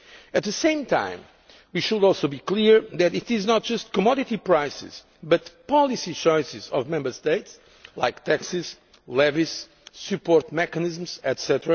At the same time, we should also be clear that it is not just commodity prices but policy choices of Member States like taxes, levies, support mechanisms, etc.,